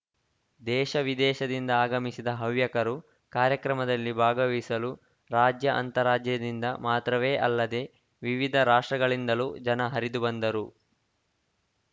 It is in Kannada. ದೇಶ ವಿದೇಶದಿಂದ ಆಗಮಿಸಿದ ಹವ್ಯಕರು ಕಾರ್ಯಕ್ರಮದಲ್ಲಿ ಭಾಗವಹಿಸಲು ರಾಜ್ಯ ಅಂತರಾಜ್ಯದಿಂದ ಮಾತ್ರವೇ ಅಲ್ಲದೆ ವಿವಿಧ ರಾಷ್ಟ್ರಗಳಿಂದಲೂ ಜನ ಹರಿದು ಬಂದರು